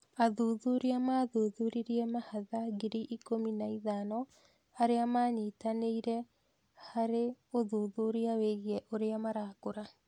Athuthuria maathuthuririe mahatha ngiri ikũmi na ithano arĩa maanyitanĩirĩ harĩ ũthuthuria wĩgiĩ ũrĩa marakũra.